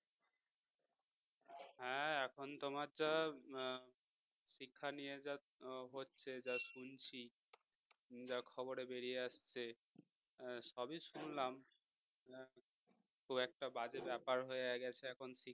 এখন তোমার যা শিক্ষা নিয়ে যা হচ্ছে যা শুনছি যা খবরে বেরিয়ে আসছে সবই শুনলাম খুব একটা বাজে ব্যাপার হয়ে গেছে এখন